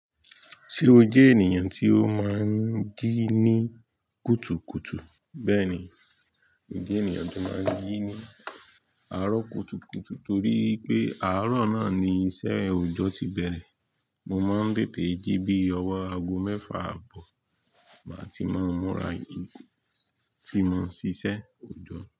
Ṣé o jẹ́ ènìyàn tí ó máa ń jí ní kùtùkùtù? Bẹ́ẹ̀ni, mo jẹ́ ènìyàn tó máa ń jí ní àárọ̀ kùtùkùtù torí pé àárọ̀ náà ni iṣẹ́ òojọ́ ti bẹ̀rẹ̀. Mo máa ń tètè jí bí ọwọ́ aago mẹ́fà àbọ̀ máa ti mó múra tí mo ń ṣíṣe òjọ́